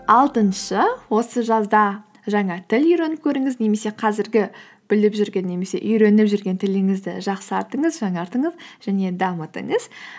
алтыншы осы жазда жаңа тіл үйреніп көріңіз немесе қазіргі біліп жүрген немесе үйреніп жүрген тіліңізді жақсартыңыз жаңартыңыз және дамытыңыз